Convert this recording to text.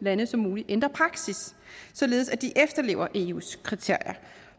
lande som muligt ændrer praksis således at de efterlever eus kriterier